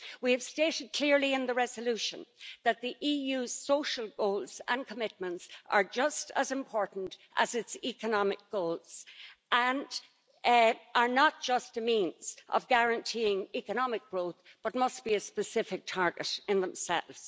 We have stated clearly in the resolution that the EU's social goals and commitments are just as important as its economic goals and are not just a means of guaranteeing economic growth, but must be a specific target in themselves.